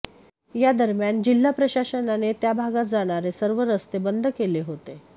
या दरम्यान जिल्हा प्रशासनाने त्या भागात जाणारे सर्व रस्ते बंद केले होते